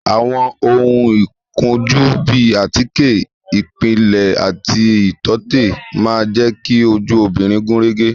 Àwọn ohun ìkojú bíi àtíkè ìpìlẹ̀ àti ìtọ́tè máa jẹ ki ojú obìnrin gúnrégé